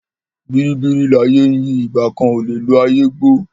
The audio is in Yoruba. Bìríbìrí láyé ń yí ìgbà kan kò lè lo ayé gbó.